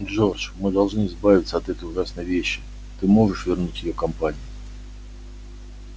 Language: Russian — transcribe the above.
джордж мы должны избавиться от этой ужасной вещи ты можешь вернуть её компании